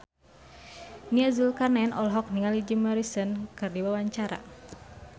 Nia Zulkarnaen olohok ningali Jim Morrison keur diwawancara